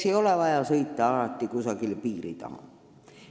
Ei ole vaja alati kusagile piiri taha sõita.